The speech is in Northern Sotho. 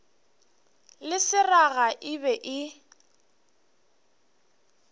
le seraga e be e